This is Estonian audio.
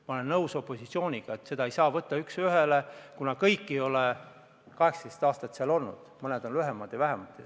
Ma olen nõus opositsiooniga, et seda ei saa võtta üks ühele, kuna kõik ei ole 18 aastat seal olnud, mõned on lühemat aega olnud.